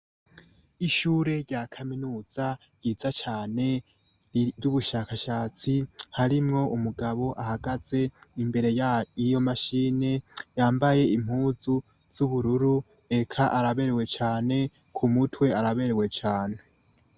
Ishure rya kaminuza ryiza cane ryubushakashatsi harimwo umugabo ahagaze imbere yiyo mashine yambaye impuzu zubururu eka araberewe cane kumutwe araberewe cane